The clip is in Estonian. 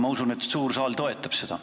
Ma usun, et suur saal toetab seda.